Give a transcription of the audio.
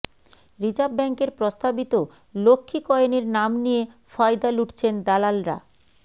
reserve ব্যাঙ্কের প্রস্তাবিত লক্ষ্মী কয়েনের নাম নিয়ে ফয়দা লুঠছেন দালালরা